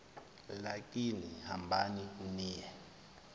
lakini hambani niye